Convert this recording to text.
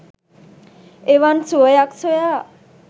එවන් සුවයක් සොයා